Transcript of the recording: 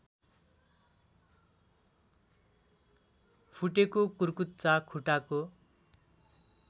फुटेको कुर्कुच्चा खुट्टाको